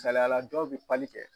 Saliya la dɔw be pali kɛ